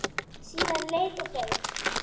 Síðan leið og beið.